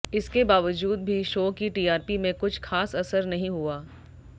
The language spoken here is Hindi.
इसके बावजूद भी शो की टीआरपी में कुछ खास असर नहीं हुआ